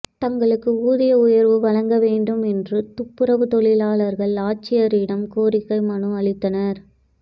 தங்களுக்கு ஊதிய உயர்வு வழங்க வேண்டும் என்று துப்புரவுத் தொழிலாளர்கள் ஆட்சியரிடம் கோரிக்கை மனு அளித்தனர்